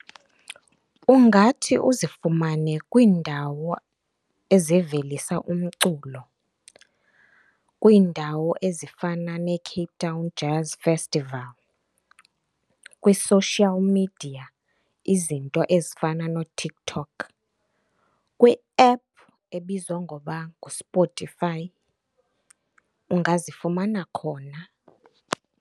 Ungathi uzifumane kwiindawo ezivelisa umculo. Kwiindawo ezifana neCape Town Jazz Festival, kwi-social media izinto ezifana nooTikTok, kwi-app ebizwa ngoba nguSpotify, ungazifumana khona.